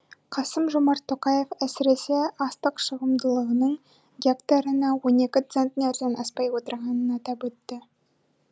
қасым жомарт тоқаев әсіресе астық шығымдылығының гектарына он екі центнерден аспай отырғанын атап өтті